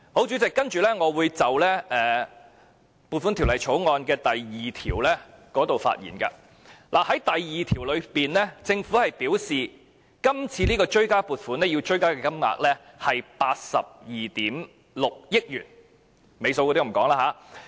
主席，接下來我會就《追加撥款條例草案》的第2條發言。第2條表示，今次追加撥款的金額是82億 6,000 萬元，尾數就不讀出來了。